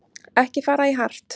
Ekki fara í hart